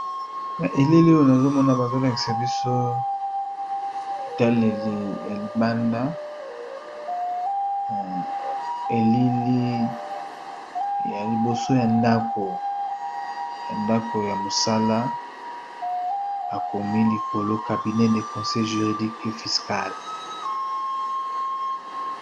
Na elili oyo nazomona bazolakisa biso etaleli ya libanda elili ya liboso ya akoya ndako ya mosala bakomi likolo cabinet de conseil juridique et fiscal.